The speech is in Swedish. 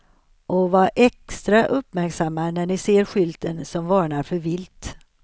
Och var extra uppmärksamma när ni ser skylten som varnar för vilt.